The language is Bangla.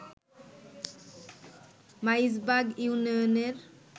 মাইজবাগ ইউনিয়নের